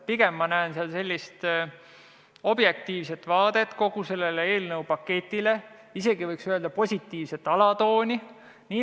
Pigem näen ma seal sellist objektiivset vaadet kogu sellele eelnõupaketile, tajun isegi positiivset alatooni.